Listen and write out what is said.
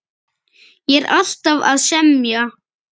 Ég er alltaf að semja.